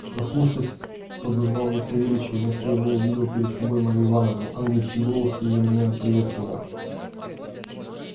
проснувшись подозвал я савельича и вместо его увидел перед собою марью ивановну ангельский голос её меня приветствовал